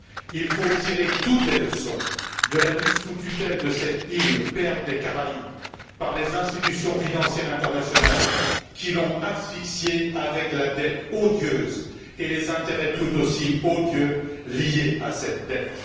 Il faut tirer toutes les leçons de la mise sous tutelle de cette île, perle des Caraïbes, par les institutions financières internationales qui l'ont asphyxiée avec la dette odieuse et les intérêts tout aussi odieux liés à cette dette.